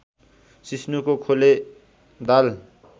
सिस्नुको खोले दाल